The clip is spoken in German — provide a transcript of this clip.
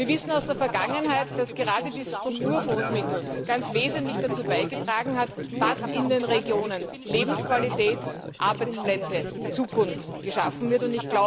Wir wissen aus der Vergangenheit, dass gerade die Strukturfondsmittel ganz wesentlich dazu beigetragen haben, dass in den Regionen Lebensqualität, Arbeitsplätze, Zukunft geschaffen werden.